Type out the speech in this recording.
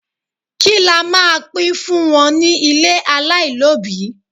Kí la máa pín fún wọn ní ilé alailobi?